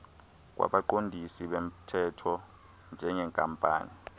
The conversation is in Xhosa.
kwabaqondisi bomthetho njengenkampani